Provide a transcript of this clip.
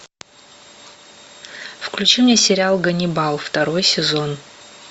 включи мне сериал ганнибал второй сезон